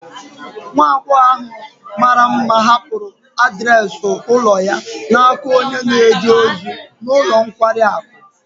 Nwa agbọghọ mara mma hapụrụ adreesị ụlọ ya n'aka onye na-eje ozi n'ulo nkwari akụ